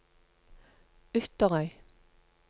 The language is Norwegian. Ytterøy